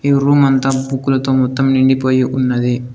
ఈ రూమ్ అంతా బుక్కులతో మొత్తం నిండిపోయి ఉన్నది.